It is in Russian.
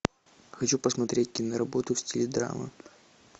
хочу посмотреть киноработу в стиле драмы